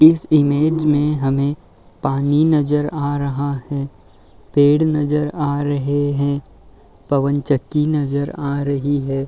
इस इमेज में हमें पानी नजर आ रहा है। पेड़ नजर आ रहे हैं। पवन चक्की नजर आ रही है।